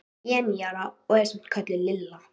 Ég er níu ára og er samt kölluð Lilla.